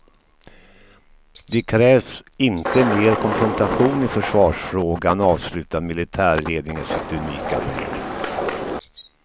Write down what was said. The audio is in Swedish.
Det krävs inte mer konfrontation i försvarsfrågan, avslutar militärledningen sitt unika brev.